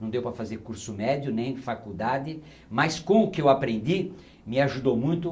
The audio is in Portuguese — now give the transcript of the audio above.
Não deu para fazer curso médio, nem faculdade, mas com o que eu aprendi, me ajudou muito.